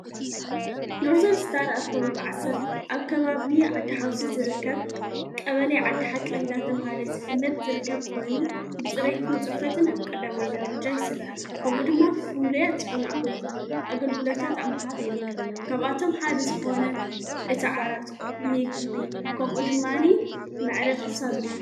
ኖርዘር ስታር ኣብ ከባብ ዓሠር ኣብ ከባብ ዓዲ ሓውሲ ዝርከብ ቀበለይ ዓዲ ሓቂ እንዳተብሃለ ዝፍለጥ ዝርከብ ኮይኑ ብጽሬትን ጽፈትን ኣብ ቀዳማይ ዳርጃ ይሥራዕ ከምኡ ድማ ፍሉያት ዝኾኑ ኣገልግሎታት ኣብ ምሃብ ይርከብ ካብኣቶም ሓደ ዝኾነ እቲ ዓራቱ ምግቢ ከምኡ ድማ ናይ መዕረፊ ሳሎን እዩ።